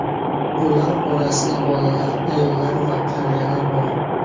Ular orasida bolalar, ayollar va qariyalar bor.